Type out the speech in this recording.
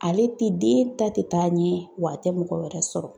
Ale te den ta te taa ɲɛ wa a tɛ mɔgɔ wɛrɛ sɔrɔ.